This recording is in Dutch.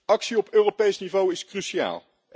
Actie op Europees niveau is cruciaal.